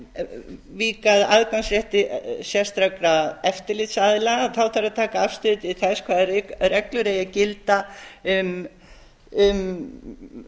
ef ég vík að aðgangsrétti sérstakra eftirlitsaðila þá þarf að taka afstöðu til þess hvaða reglur eigi að gilda um